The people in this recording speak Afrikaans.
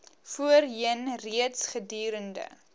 voorheen reeds gedurende